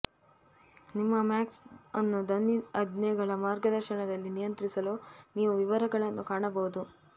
ನಿಮ್ಮ ಮ್ಯಾಕ್ ಅನ್ನು ಧ್ವನಿ ಆಜ್ಞೆಗಳ ಮಾರ್ಗದರ್ಶನದಲ್ಲಿ ನಿಯಂತ್ರಿಸಲು ನೀವು ವಿವರಗಳನ್ನು ಕಾಣಬಹುದು